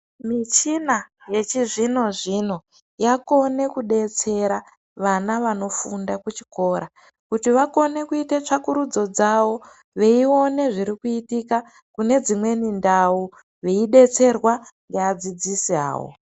Michina yechizvinozvino zvino yakone kudetsera vana vanofunda kuchikora, kuti vakone kuita tsvakurudzo dzavo veiona zviri kuitika kunedzimweni ndau veidetserwa ngeadzidzisi awo.